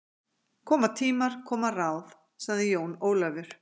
Koma tímar, koma ráð, sagði Jón Ólafur.